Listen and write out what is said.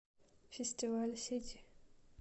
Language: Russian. фестиваль сити